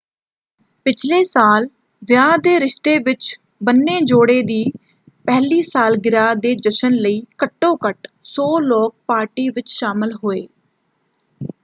ਪਿਛਲੇ ਸਾਲ ਵਿਆਹ ਦੇ ਰਿਸ਼ਤੇ ਵਿੱਚ ਬੰਨੇ ਜੋੜੇ ਦੀ ਪਹਿਲੀ ਸਾਲਗਿਰਾਹ ਦੇ ਜਸ਼ਨ ਲਈ ਘੱਟੋ ਘੱਟ 100 ਲੋਕ ਪਾਰਟੀ ਵਿੱਚ ਸ਼ਾਮਲ ਹੋਏ।